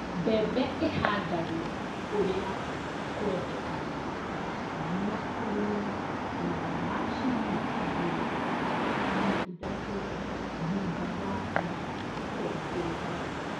Mbembe ihandagwo ũrĩa kwendekanaga na kũrĩmĩra thutha wa ciumia igĩrĩ na ithatũ thutha mbura kwanjĩrĩria